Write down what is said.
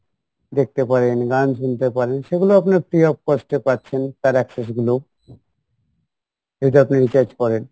দেখতে পারেন গান শুনতে পারেন সেগুলো আপনার free of cost এ পাচ্ছেন তার access গুলোও আপনি recharge করেন